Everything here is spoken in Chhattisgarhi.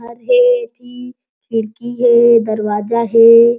घर हे ऐति खिड़की हे दरवाजा हे।